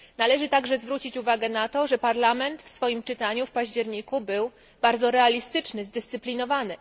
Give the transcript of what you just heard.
Należy także zwrócić uwagę na to, że Parlament w swoim czytaniu w październiku był bardzo realistyczny i zdyscyplinowany.